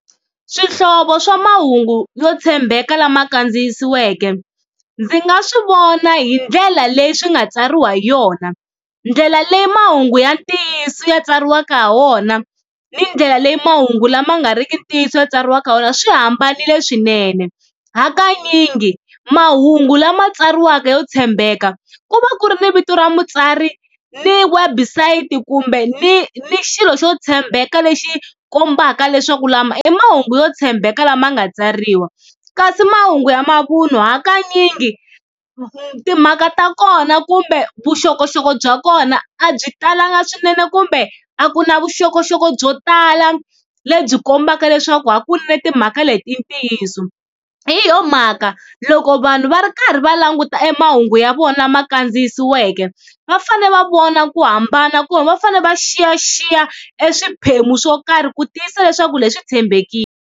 Swihlovo swa mahungu yo tshembeka lama kandziyisiweke ndzi nga swi vona hi ndlela leyi swi nga tsariwa hi yona, ndlela leyi mahungu ya ntiyiso ya tsariwaka ha wona ni ndlela leyi mahungu lama nga riki ntiyiso ma tsariwaka kona swi hambanile swinene. Hakanyingi mahungu lama tsariwaka yo tshembeka ku va ku ri ni vito ra mutsari ni website kumbe ni ni xilo xo tshembeka lexi kombaka leswaku lama i mahungu yo tshembeka lama nga tsariwa. Kasi mahungu ya mavun'wa hakanyingi timhaka ta kona kumbe vuxokoxoko bya kona a byi talanga swinene kumbe a ku na vuxokoxoko byo tala lebyi kombaka leswaku hakunene timhaka leti i ntiyiso. Hi yona mhaka loko vanhu va ri karhi va languta e mahungu ya vona ma kandziyisiweke va fane va vona ku hambana kumbe va fane va xiyaxiya e swiphemu swo karhi ku tiyisisa leswaku leswi tshembekile.